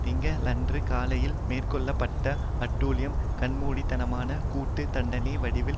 திங்களன்று காலையில் மேற்கொள்ள பட்ட அட்டூழியம் கண்மூடித்தனமான கூட்டு தண்டனை வடிவில்